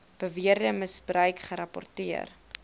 beweerde misbruik gerapporteer